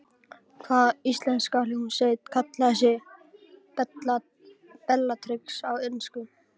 Hvaða íslenska hljómsveit kallaði sig Bellatrix á ensku?